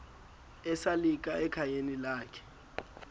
esalika ekhayeni lakhe